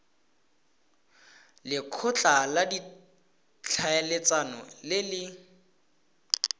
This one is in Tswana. lekgotla la ditlhaeletsano le le